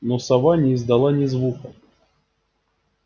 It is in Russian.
но сова не издала ни звука